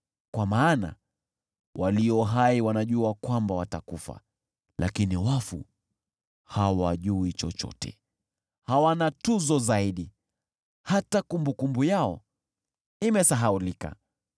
Kwa maana walio hai wanajua kwamba watakufa, lakini wafu hawajui chochote, hawana tuzo zaidi, hata kumbukumbu yao imesahaulika.